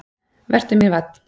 """Vertu mér vænn,"""